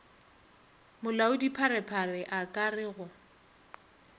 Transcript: molaodipharephare a ka re go